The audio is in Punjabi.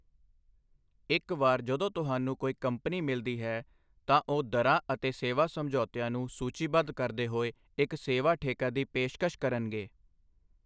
ਇੱਕ ਵਾਰ ਜਦੋਂ ਤੁਹਾਨੂੰ ਕੋਈ ਕੰਪਨੀ ਮਿਲਦੀ ਹੈ, ਤਾਂ ਉਹ ਦਰਾਂ ਅਤੇ ਸੇਵਾ ਸਮਝੌਤਿਆਂ ਨੂੰ ਸੂਚੀਬੱਧ ਕਰਦੇ ਹੋਏ ਇੱਕ ਸੇਵਾ ਠੇਕਾ ਦੀ ਪੇਸ਼ਕਸ਼ ਕਰਨਗੇ।